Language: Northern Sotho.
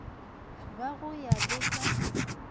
ba go ya le ka